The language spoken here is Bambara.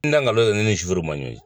N da nkalon ne ni suru ma ɲɔɔn ye